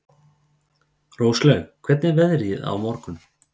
Róslaug, hvernig er veðrið á morgun?